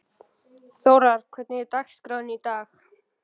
Þórar, hvernig er dagskráin í dag?